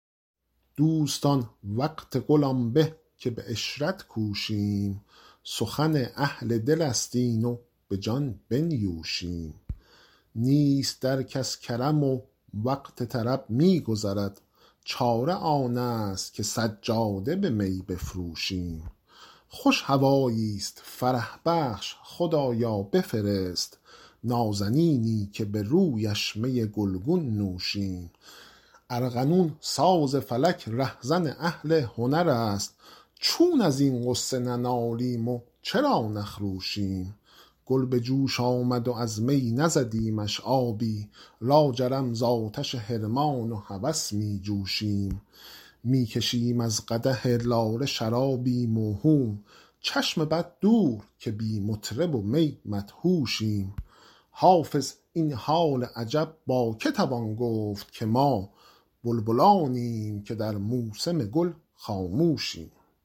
دوستان وقت گل آن به که به عشرت کوشیم سخن اهل دل است این و به جان بنیوشیم نیست در کس کرم و وقت طرب می گذرد چاره آن است که سجاده به می بفروشیم خوش هوایی ست فرح بخش خدایا بفرست نازنینی که به رویش می گل گون نوشیم ارغنون ساز فلک ره زن اهل هنر است چون از این غصه ننالیم و چرا نخروشیم گل به جوش آمد و از می نزدیمش آبی لاجرم زآتش حرمان و هوس می جوشیم می کشیم از قدح لاله شرابی موهوم چشم بد دور که بی مطرب و می مدهوشیم حافظ این حال عجب با که توان گفت که ما بلبلانیم که در موسم گل خاموشیم